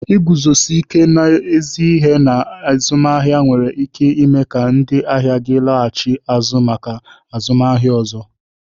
Iguzosi ike n'ezi ihe na azụmaahịa nwere ike ime ka ndị ahịa gị laghachi azụ maka azụmaahịa ọzọ.